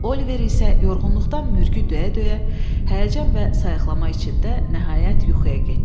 Oliver isə yorğunluqdan mürgü döyə-döyə, həyəcan və sayıqlama içində nəhayət yuxuya getdi.